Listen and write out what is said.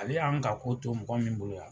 Ale y' ani ka ko to mɔgɔ min bolo yan.